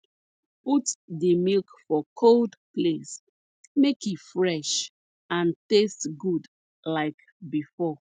put di milk for cold place make e fresh and taste good like before